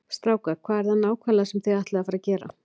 Strákar, hvað er það nákvæmlega sem þið ætlið að fara að gera?